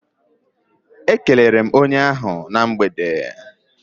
E kelere m onye ahụ na mgbede.